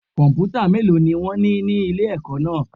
Kọ̀m̀pútà mélòó ni wón ní ní ilé ẹ̀kọ́ náà.